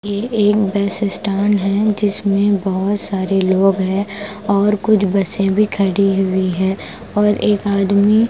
ये एक bus stand है जिसमें बहुत सारे लोग हैं और कुछ बसें भी खड़ी हुई हैं और एक आदमी--